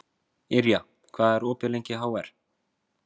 Yrja, hvað er opið lengi í HR?